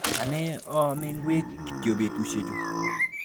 Ane aame ngwek kityo betushiechu.